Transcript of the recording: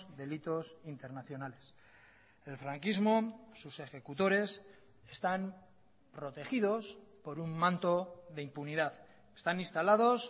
delitos internacionales el franquismo sus ejecutores están protegidos por un manto de impunidad están instalados